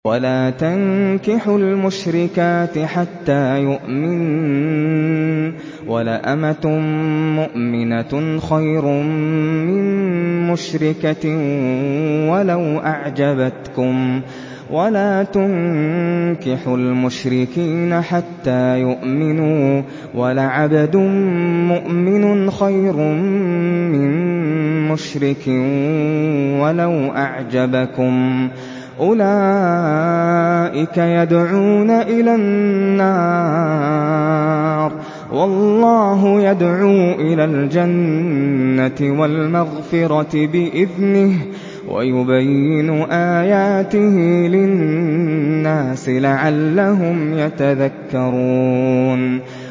وَلَا تَنكِحُوا الْمُشْرِكَاتِ حَتَّىٰ يُؤْمِنَّ ۚ وَلَأَمَةٌ مُّؤْمِنَةٌ خَيْرٌ مِّن مُّشْرِكَةٍ وَلَوْ أَعْجَبَتْكُمْ ۗ وَلَا تُنكِحُوا الْمُشْرِكِينَ حَتَّىٰ يُؤْمِنُوا ۚ وَلَعَبْدٌ مُّؤْمِنٌ خَيْرٌ مِّن مُّشْرِكٍ وَلَوْ أَعْجَبَكُمْ ۗ أُولَٰئِكَ يَدْعُونَ إِلَى النَّارِ ۖ وَاللَّهُ يَدْعُو إِلَى الْجَنَّةِ وَالْمَغْفِرَةِ بِإِذْنِهِ ۖ وَيُبَيِّنُ آيَاتِهِ لِلنَّاسِ لَعَلَّهُمْ يَتَذَكَّرُونَ